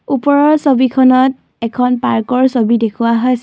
ওপৰৰ ছবিখনত এখন পাৰ্কৰ ছবি দেখুওৱা হৈছ --